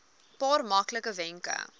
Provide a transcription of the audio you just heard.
paar maklike wenke